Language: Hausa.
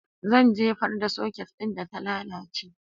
Zan jefar da soket ɗin da ta lalace